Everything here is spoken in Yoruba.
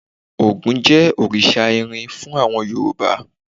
Ògún jẹ́ òrìṣà irin fún àwọn Yorùbá.